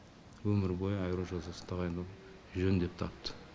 өмір бойы айыру жазасын тағайындауды жөн деп тапты